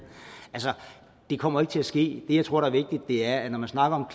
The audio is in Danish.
det kommer til at ske det jeg tror er vigtigt er at når man snakker om